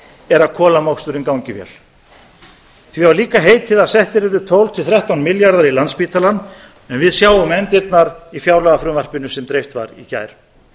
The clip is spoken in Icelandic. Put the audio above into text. er að kolamoksturinn gangi vel því var líka heitið að settir yrðu tólf til þrettán milljarðar í landspítalann en við sjáum efndirnar í fjárlagafrumvarpinu sem dreift var í gær